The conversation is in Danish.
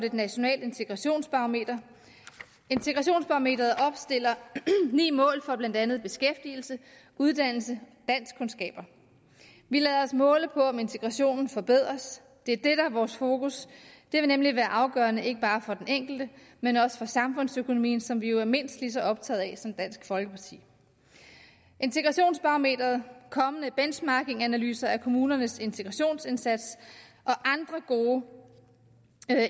et nationalt integrationsbarometer integrationsbarometeret opstiller ni mål for blandt andet beskæftigelse uddannelse og danskkundskaber vi lader os måle på om integrationen forbedres det er det der er vores fokus det vil nemlig være afgørende ikke bare for den enkelte men også for samfundsøkonomien som vi jo er mindst lige så optaget af som dansk folkeparti integrationsbarometeret kommende benchmarkinganalyser af kommunernes integrationsindsats og andre gode